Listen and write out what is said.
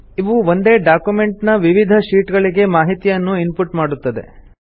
ಇವು ಒಂದೇ ಡಾಕ್ಯುಮೆಂಟ್ ನ ವಿವಿಧ ಶೀಟ್ ಗಳಿಗೆ ಮಾಹಿತಿಯನ್ನು ಇನ್ ಪುಟ್ ಮಾಡುತ್ತದೆ